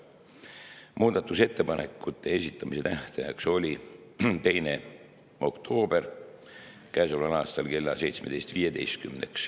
Muudatusettepanekute esitamise tähtaeg oli käesoleva aasta 2. oktoober kell 17.15.